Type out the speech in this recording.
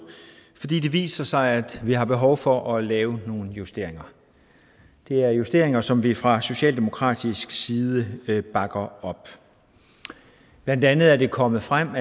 fordi det viser sig at vi har behov for at lave nogle justeringer det er justeringer som vi fra socialdemokratisk side bakker op blandt andet er det kommet frem